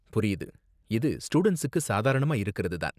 புரியுது, இது ஸ்டுடண்ட்ஸுக்கு சாதாரணமா இருக்கிறது தான்.